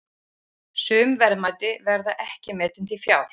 Sum verðmæti verða ekki metin til fjár.